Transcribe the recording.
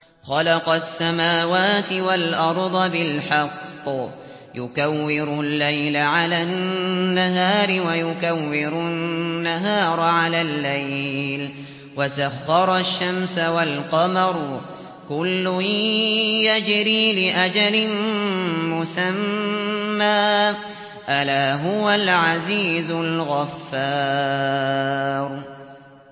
خَلَقَ السَّمَاوَاتِ وَالْأَرْضَ بِالْحَقِّ ۖ يُكَوِّرُ اللَّيْلَ عَلَى النَّهَارِ وَيُكَوِّرُ النَّهَارَ عَلَى اللَّيْلِ ۖ وَسَخَّرَ الشَّمْسَ وَالْقَمَرَ ۖ كُلٌّ يَجْرِي لِأَجَلٍ مُّسَمًّى ۗ أَلَا هُوَ الْعَزِيزُ الْغَفَّارُ